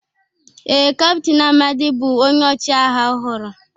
ee, Captain Amadi bụ onye ọchịagha ọhụrụ